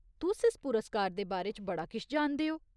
तुस इस पुरस्कार दे बारे च बड़ा किश जानदे ओ।